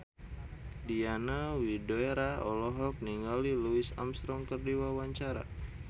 Diana Widoera olohok ningali Louis Armstrong keur diwawancara